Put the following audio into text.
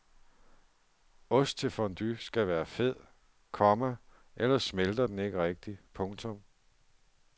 Ost til fondue skal være fed, komma ellers smelter den ikke rigtigt. punktum